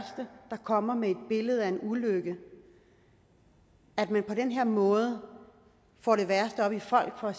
kommer med et billede af en ulykke og at man på den her måde får det værste op i folk og